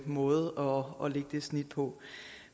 måde at lægge det snit på